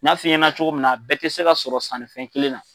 N'a f'i ɲɛnɛ cogo min na a bɛɛ te se ka sɔrɔ sannifɛn kelen na